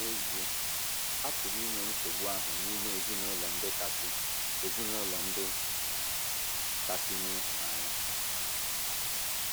N’ezie, a pụrụ inwe nsogbu ahụ n’ime ezinụlọ ndị kasị ezinụlọ ndị kasị nwee ịhụnanya.